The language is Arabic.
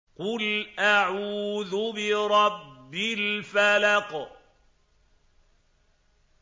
قُلْ أَعُوذُ بِرَبِّ الْفَلَقِ